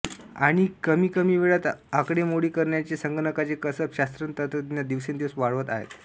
आणि कमीकमी वेळात आकडेमोडी करण्याचे संगणकांचे कसब शास्त्रज्ञतंत्रज्ञ दिवसेंदिवस वाढवत आहेत